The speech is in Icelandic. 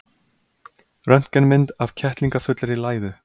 Röntgenmynd af kettlingafullri læðu.